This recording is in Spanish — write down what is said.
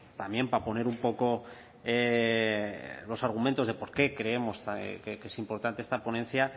también para poner un poco los argumentos de por qué creemos que es importante esta ponencia